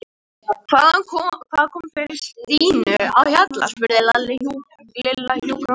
Hvað kom fyrir Stínu á Hjalla? spurði Lilla hjúkrunarkonuna á leiðinni út.